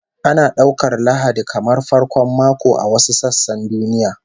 Ana daukar Lahadi kamar farkon mako a wasu sassan duniya